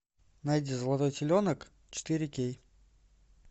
найди золотой теленок четыре кей